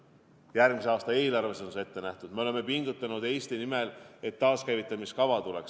Järgmise aasta eelarves on see ette nähtud ja me oleme Eesti nimel pingutanud, et tuleks taaskäivitamise kava.